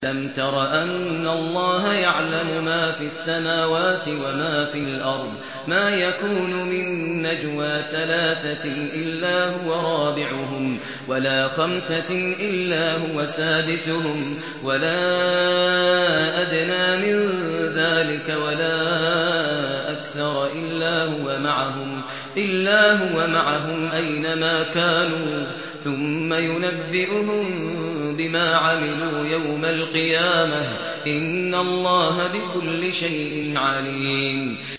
أَلَمْ تَرَ أَنَّ اللَّهَ يَعْلَمُ مَا فِي السَّمَاوَاتِ وَمَا فِي الْأَرْضِ ۖ مَا يَكُونُ مِن نَّجْوَىٰ ثَلَاثَةٍ إِلَّا هُوَ رَابِعُهُمْ وَلَا خَمْسَةٍ إِلَّا هُوَ سَادِسُهُمْ وَلَا أَدْنَىٰ مِن ذَٰلِكَ وَلَا أَكْثَرَ إِلَّا هُوَ مَعَهُمْ أَيْنَ مَا كَانُوا ۖ ثُمَّ يُنَبِّئُهُم بِمَا عَمِلُوا يَوْمَ الْقِيَامَةِ ۚ إِنَّ اللَّهَ بِكُلِّ شَيْءٍ عَلِيمٌ